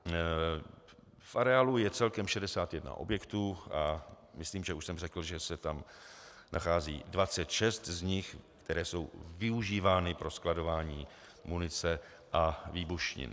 V areálu je celkem 61 objektů a myslím, že už jsem řekl, že se tam nachází 26 z nich, které jsou využívány ke skladování munice a výbušnin.